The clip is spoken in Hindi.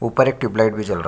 ऊपर एक ट्यूब्लाइट भी जल रहा है।